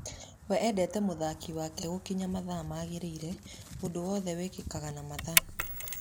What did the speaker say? Wee endete mũthaki wake gũkinya mathaa maagĩrĩire, ũndũ wothe wĩkĩkage na mathaa